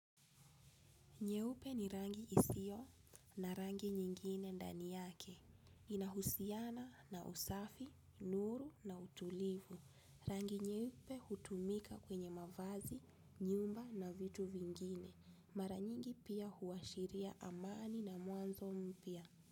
Nyeupe ni rangi isio na rangi nyingine ndani yake. Inahusiana na usafi, nuru na utulivu. Rangi nyeupe hutumika kwenye mavazi, nyumba na vitu vingine. Mara nyingi pia huashiria amani na mwanzo mpia.